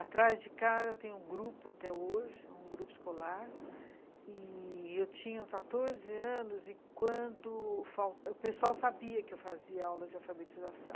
Atrás de casa tem um grupo até hoje, um grupo escolar, e eu tinha quatorze anos e quando... o pessoal sabia que eu fazia aula de alfabetização.